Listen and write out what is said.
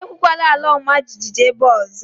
Ekwukwala àlà ọma jijiji ébé a ọzọ